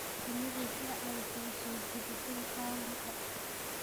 Shinnidu waxay caawisaa soo jiidashada kalluunka.